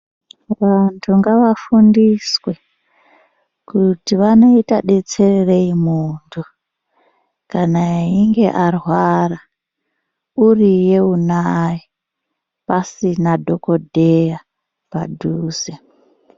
Vantu ngavafundiswe kuti vanoita detsererei muntu kana einge arwara uriye unaye pasina dhokodheya padhuze.